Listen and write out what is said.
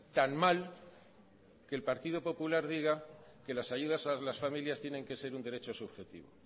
tan mal que el partido popular diga que las ayudas a las familias tienen que ser un derecho subjetivo